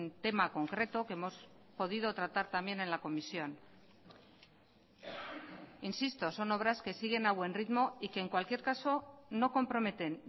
tema concreto que hemos podido tratar también en la comisión insisto son obras que siguen a buen ritmo y que en cualquier caso no comprometen